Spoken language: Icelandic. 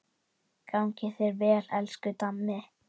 Gangi þér vel, elsku Dammi.